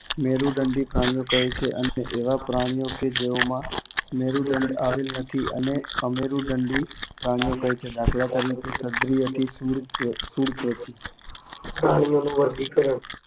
મેરુદંડી પ્રાણીઓ કહે છે અને એવા પ્રાણીઓ કે જેઓમાં મેરુદંડ આવેલ નથી તેને અમેરુદંડી પ્રાણીઓ કહે છે. દાખલ તરીકે સછીન્દ્રથી શૂળત્વચિ. પ્રાણીઓનું વર્ગીકરણ